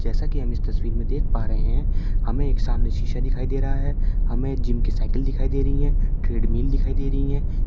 जैसा कि हम इस तस्वीर में देख पा रहे है हमे एक सामने शीशा दिखाई दे रहा है हमे जिम की साइकिल दिखाई दे रही है ट्रेडमिल दिखाई दे रही है।